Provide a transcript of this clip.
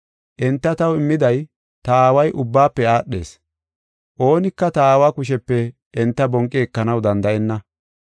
Enta taw immida ta Aaway ubbaafe aadhees Oonika ta Aawa kushepe enta bonqi ekanaw danda7enna.